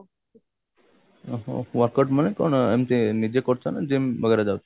ଉଁହୁଁ workout ମାନେ କଣ ଏମତି ନିଜେ କରୁଛ ନା gym ବଗେରା ଯାଉଛ